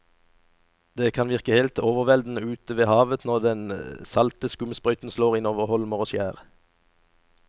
Det kan virke helt overveldende ute ved havet når den salte skumsprøyten slår innover holmer og skjær.